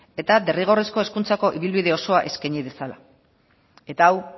eta derrigorrezko hezkuntzako ibilbide osoa eskaini dezala eta hau